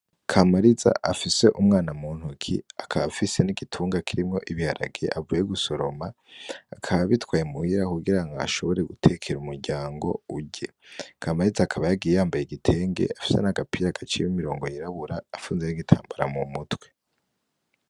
Kamariza afise umwana mu ntoki akaba afise n'igitunga kirimwo ibiharage avuye gusoroma akaba abitwaye muhira kugira ngo ashobre gutekera umuryango urye. Kamariza akaba yagiye yambaye igitenge afise n'agapira gaciyemwo imirongo yirabura, apfunze n'igitambara mu mutwe.